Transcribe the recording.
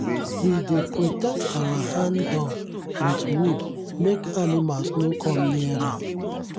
we dey protect our hand-dug with wood make animals no come near am.